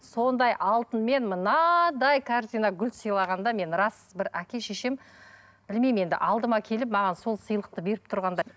сондай алтынмен мынадай корзина гүл сыйлағанда мен рас бір әке шешем білмеймін енді алдыма келіп маған сол сыйлықты беріп тұрғандай